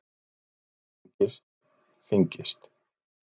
Þögnin lengist, þyngist.